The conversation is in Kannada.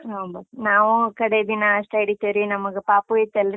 ಹಾ ಒಂಬತ್ತ್, ನಾವು ಕಡೇ ದಿನ ಅಷ್ಟೇ ಹಿಡಿತೀವ್ರಿ, ನಮಗ್ ಪಾಪು ಐತಲ್ರೀ?